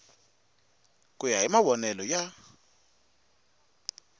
ku ya hi mavonele ya